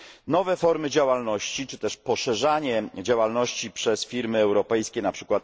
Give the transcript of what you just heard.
Nowe formy działalności czy też poszerzanie działalności przez firmy europejskie, np.